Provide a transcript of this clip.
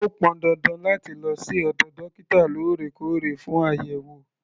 O pọn dandan láti lọ sí ọ̀dọ̀ dókítà lóòrèkóòrè fún àyẹ̀wò.